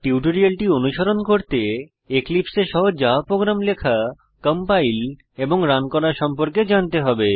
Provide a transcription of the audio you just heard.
টিউটোরিয়ালটি অনুসরণ করতে এক্লিপসে এ সহজ জাভা প্রোগ্রাম লেখা কম্পাইল এবং রান করা সম্পর্কে জানতে হবে